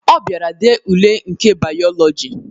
Ọ bịara dee ule nke Bayọlọji